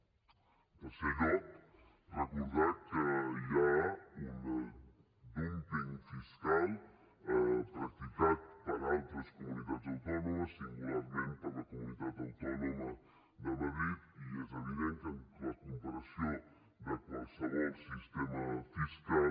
en tercer lloc recordar que hi ha un dúmping fiscal practicat per altres comunitats autònomes singularment per la comunitat de madrid i que és evident que la comparació de qualsevol sistema fiscal